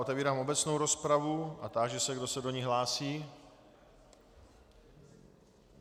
Otevírám obecnou rozpravu a táži se, kdo se do ní hlásí.